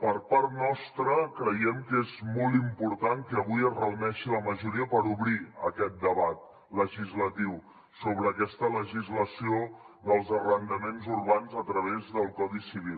per part nostra creiem que és molt important que avui es reuneixi la majoria per obrir aquest debat legislatiu sobre aquesta legislació dels arrendaments urbans a través del codi civil